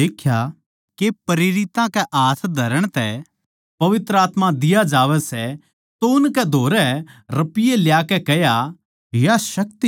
जिब शमौन नै देख्या के प्रेरितां कै हाथ धरण तै पवित्र आत्मा दिया जावै सै तो उनकै धोरै रपिये ल्याकै कह्या